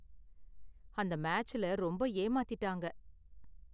அந்த மேட்ச்ல ரொம்ப ஏமாத்திட்டாங்க.